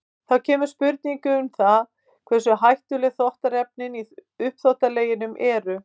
Þá kemur spurningin um það hversu hættuleg þvottaefnin í uppþvottaleginum eru.